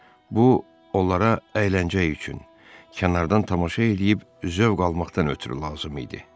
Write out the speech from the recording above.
Bu onlara əyləncə üçün kənardan tamaşa eləyib zövq almaqdan ötrü lazım idi.